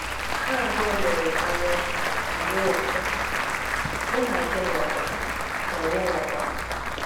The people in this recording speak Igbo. Ha abụọ lere m anya, m wee sị, “Mụ na gị nọkwa!” na gị nọkwa!”